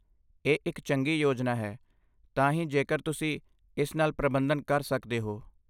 ਇਹ ਇੱਕ ਚੰਗੀ ਯੋਜਨਾ ਹੈ ਤਾਂ ਹੀ ਜੇਕਰ ਤੁਸੀਂ ਇਸ ਨਾਲ ਪ੍ਰਬੰਧਨ ਕਰ ਸਕਦੇ ਹੋ।